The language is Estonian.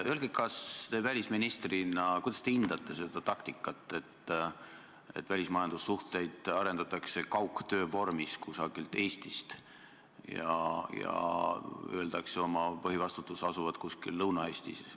Kuidas te välisministrina hindate seda taktikat, et välismajandussuhteid arendatakse kaugtöövormis kusagilt Eestist ja öeldakse oma põhivastutuse asuvat kuskil Lõuna-Eestis?